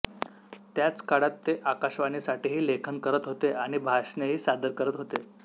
त्याच काळात ते आकाशवाणीसाठीही लेखन करत होते आणि भाषणेही सादर करत होते